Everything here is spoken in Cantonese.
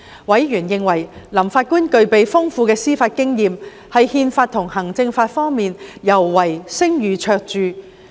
委員認為，林法官具備豐富的司法經驗，在憲法及行政法方面尤為聲譽卓著。